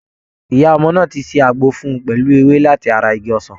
Ìyá ọmọ náà ti ṣe àgbo fún un pẹ̀lú ewé láti ara Igi osan.